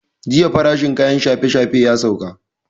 Jiya farashin kayan shafe shafe ya sauka